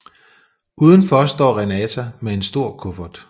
Udenfor står Renata med en stor kuffert